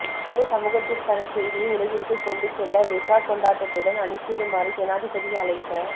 சிறந்த சமூகத்திற்கான செய்தியை உலகிற்கு கொண்டு செல்ல வெசாக் கொண்டாட்டத்துடன் அணிசேருமாறு ஜனாதிபதி அழைப்ப